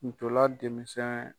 Ntolan denmisɛn